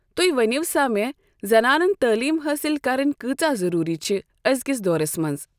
تُہۍ ؤنِو سا مےٚ زنانن تعلیٖم حٲصِل کَرٕنۍ کۭژاہ ضروٗری چھِ أزکِس دورَس منٛز؟